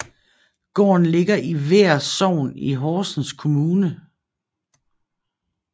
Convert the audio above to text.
Gården ligger i Vær Sogn i Horsens Kommune